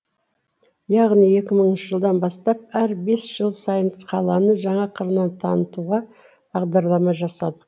яғни екі мыңыншы жылдан бастап әр бес жыл сайын қаланы жаңа қырынан танытуға бағдарлама жасадық